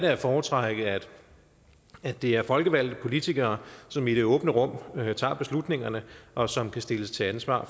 at foretrække at det er folkevalgte politikere som i det åbne rum tager beslutningerne og som kan stilles til ansvar